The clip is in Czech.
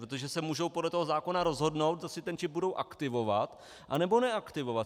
Protože se můžou podle toho zákona rozhodnout, jestli ten čip budou aktivovat, anebo neaktivovat.